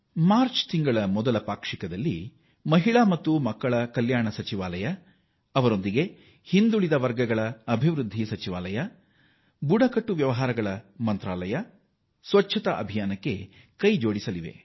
March ನ ಮೊದಲ ಪಾಕ್ಷಿಕದಲ್ಲಿ ಮಹಿಳಾ ಮತ್ತು ಮಕ್ಕಳ ಅಭಿವೃದ್ಧಿ ಸಚಿವಾಲಯ ಬುಡಕಟ್ಟು ವ್ಯವಹಾರಗಳ ಸಚಿವಾಲಯದೊಂದಿಗೆ ಸ್ವಚ್ಛತಾ ಅಭಿಯಾನಕ್ಕೆ ಕೈ ಜೋಡಿಸಿವೆ